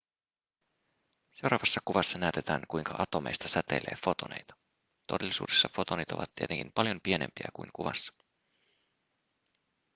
seuraavassa kuvassa näytetään kuinka atomeista säteilee fotoneita todellisuudessa fotonit ovat tietenkin paljon pienempiä kuin kuvassa